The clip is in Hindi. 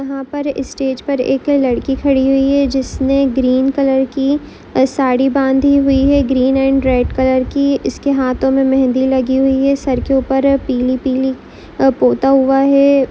यहाँ पर इस स्टेज पर एक लडकी खडी हुई है जिसने ग्रीन कलर की साडी बांधी हुई है ग्रीन एंड रेड कलर की इसकी हाथो मे मेहंदी लगि हुई है सर के ऊपर पीली पीली पोता हुआ है।